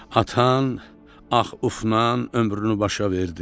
Atan ax-ufnan ömrünü başa verdi.